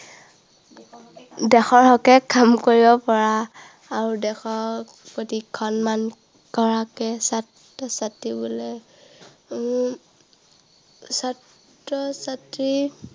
দেশৰ হকে কাম কৰিব পৰা, আৰু দেশৰ প্ৰতি সন্মান কৰাকে ছাত্ৰ-ছাত্ৰী বোলে। উম ছাত্ৰ-ছাত্ৰীৰ